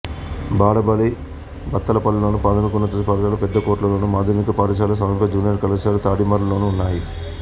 బాలబడి బత్తలపల్లెలోను ప్రాథమికోన్నత పాఠశాల పెద్దకొట్లలోను మాధ్యమిక పాఠశాల సమీప జూనియర్ కళాశాల తాడిమర్రిలోనూ ఉన్నాయి